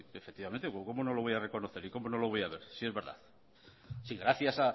efectivamente cómo no lo voy a reconocer y cómo no lo voy a ver si es verdad si gracias